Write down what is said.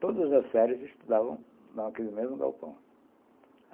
Todas as séries estudavam naquele mesmo galpão.